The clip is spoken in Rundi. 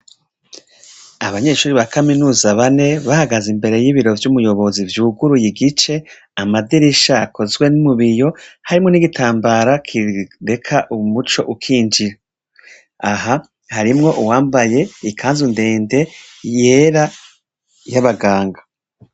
Abanyeshure bo muri kaminuza bane bahagaze imbere y' ibiro vy' umuyobozi vyuguruye igice amadirisha akozwe mu biyo harimwo n' igitambara kireka umuco ukinjira, aha harimwo uwambaye ikanzu ndende yera y' abaganga.